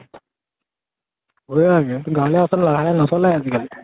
ভয়ে লাগে গাৱঁলীয়া ৰাস্তাত লাহে লাহে নচলায়ে আজি কালি।